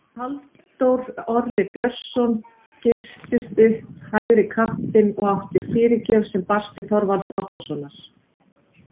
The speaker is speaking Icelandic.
Halldór Orri Björnsson geystist upp hægri kantinn og átti fyrirgjöf sem barst til Þorvalds Árnasonar.